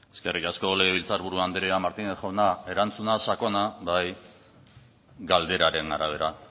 eskerrik asko legebiltzar buru andrea martínez jauna erantzuna sakona bai galderaren arabera